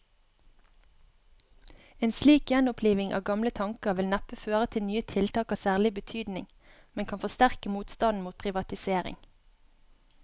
En slik gjenoppliving av gamle tanker vil neppe føre til nye tiltak av særlig betydning, men kan forsterke motstanden mot privatisering.